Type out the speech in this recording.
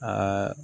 Aa